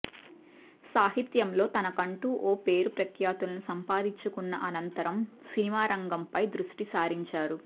సాహిత్యంలో తనకంటూ ఓ పేరు ప్రఖ్యాతులు సంపాదించుకున్న అనంతరం సినిమా రంగంపై దృష్టి సారించారు